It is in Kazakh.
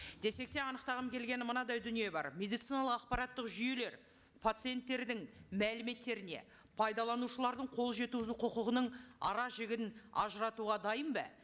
десек те анықтағым келгені мынадай дүние бар медициналық ақпараттық жүйелер пациенттердің мәліметтеріне пайдаланушылардың қолжеткізу құқығының аражігін ажыратауға дайын ба